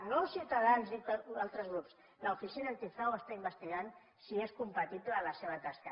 no els ciutadans i altres grups l’oficina antifrau està investigant si és compatible la seva tasca